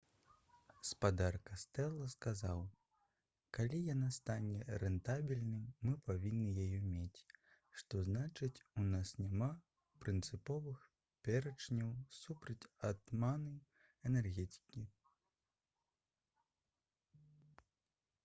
спадар кастэла сказаў: «калі яна стане рэнтабельнай мы павінны яе мець. што значыць у нас няма прынцыповых пярэчанняў супраць атамнай энергетыкі»